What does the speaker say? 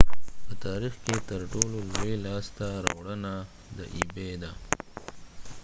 دا د ebay په تاریخ کې ترټولو لوی لاسته راوړنه ده